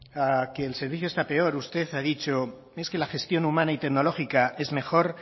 a que el servicio está peor usted ha dicho es que la gestión humana y tecnológica es mejor